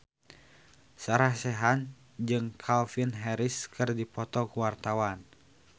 Sarah Sechan jeung Calvin Harris keur dipoto ku wartawan